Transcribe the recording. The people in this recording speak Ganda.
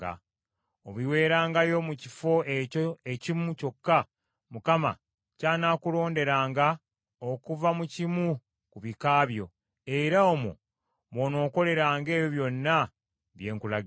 Obiweerengayo mu kifo ekyo ekimu kyokka Mukama ky’anaakulonderanga okuva mu kimu ku bika byo; era omwo mw’onookoleranga ebyo byonna bye nkulagira.